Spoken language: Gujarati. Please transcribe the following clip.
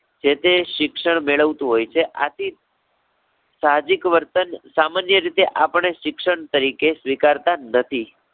જે-તે શિક્ષણ મેળવતું હોય છે આથી સાહજિક વર્તન સામાન્ય રીતે આપણે શિક્ષણ તરીકે સ્વીકારતા નથી.